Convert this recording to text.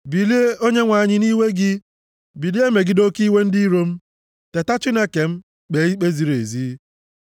Bilie, Onyenwe anyị, nʼiwe gị, bilie megide oke iwe ndị iro m; teta Chineke m, kpee ikpe ziri ezi.